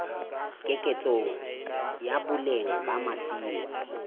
keketseho ya boleng ba masimo